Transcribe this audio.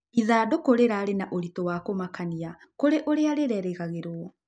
Ĩthandũkũ rĩrarĩ na ũrĩtũ wa kũmakanĩa kũrĩ ũrĩa rĩrerĩgagĩrĩrwo